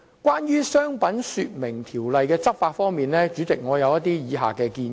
關於《商品說明條例》的執法，我有以下建議。